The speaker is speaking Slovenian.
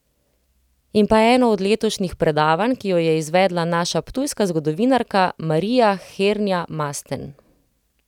In pa eno od letošnjih predavanj, ki jo je izvedla naša ptujska zgodovinarka Marija Hernja Masten.